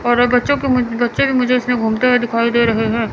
और बच्चों के मु बच्चे के इसमें घूमते हुए दिखाई दे रहे है।